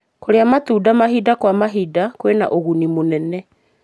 Kũrĩa matunda mahinda kwa mahinda kwĩna ũguni mũnene.